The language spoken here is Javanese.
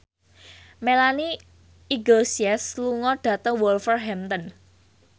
Melanie Iglesias lunga dhateng Wolverhampton